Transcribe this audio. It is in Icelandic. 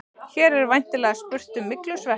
Hér er væntanlega spurt um myglusveppi.